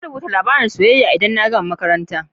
Zan rubuta labarin soyayya idan na gama makaranta.